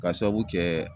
Ka sababu kɛ